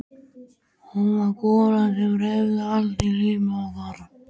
Hún var golan sem hreyfði allt í lífi okkar.